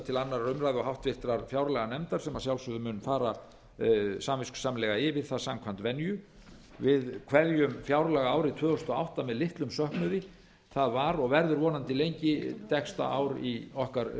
til annarrar umræðu og háttvirtrar fjárlaganefndar sem að sjálfsögðu mun fara samviskusamlega yfir það samkvæmt venju við kveðjum fjárlagaárið tvö þúsund og átta með litlum söknuði það var og verður vonandi lengi dekksta ár í okkar